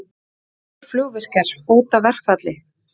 Finnskir flugvirkjar hóta verkfalli